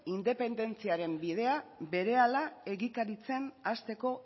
independentziaren bidea berehala egikaritzen hasteko